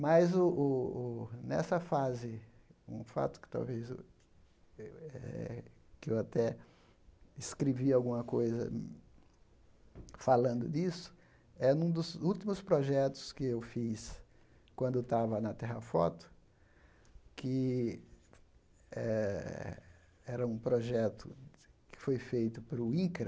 Mas o o o, nessa fase, um fato que talvez eu eh eu até escrevi alguma coisa falando disso, é em um dos últimos projetos que eu fiz quando estava na Terrafoto, que eh era um projeto que foi feito para o INCRA,